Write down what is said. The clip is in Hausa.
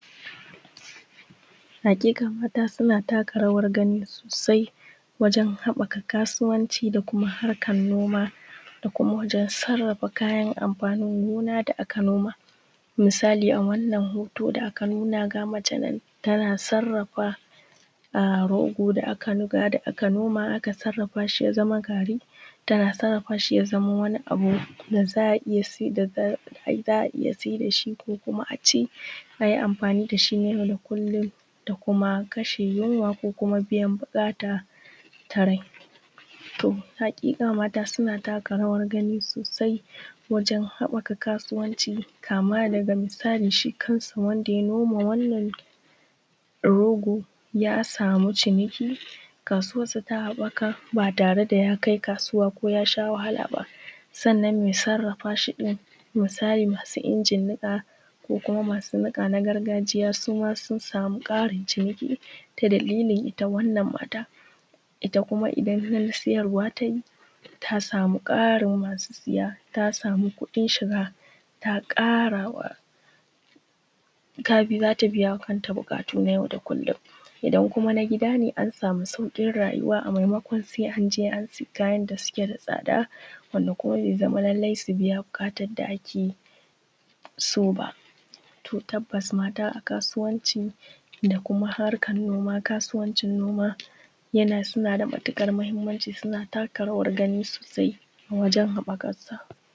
Haƙiƙa mata suna taka rawar gani sosainwajen haɓaka kasuwanci da harkan noma da kuma wajen sarrafa kayan amfanin gina da aka noma. Misali a wannan hoto da aka nuna ga mace nan tana sarrafa rogo da aka nuƙa aka noma aka sarrafa shi ya zama gari aka sarrafa shi ya zama wani abu da za a iya sayar da shi ko a ci da za yi amfani da shi yau da kullum a kashe yinwa ko kuma biyan buƙata ta rai. To haƙiƙa mata suna taka rawa sosai wajen haɓaka kasuwanci kama daga misali shi kan shi wanda ya noma wannan rogo ya sama ciniki kasuwarsa ta haɓaka ba tare da ya kai kasuwa ko ya sha wahala ba. Sannnan mai sarrafa shi misali masu injin niƙa ko kum a masu niƙa na gargajiya sun sama ƙarin ciniki ta dalilin ita wannan mata, ita din idan sayarwa ta yi ta sama ƙarin masu saya ta sama ƙarin masu kuɗin shiga za ta biya wa kanta buƙatu na yau da kullum. Idan kuma na gida ne an sama sauƙin rayuwa maimakon sai an je an sai kayan da suke da tsada kuma bai zama lallai ba su biya buƙatar da ake so ba. To tabbas mata a kasuwan da kuma harkar noma suna da matuƙar mahimmanci suna taka rawar gani sosai wajen haɓaka ƙasa.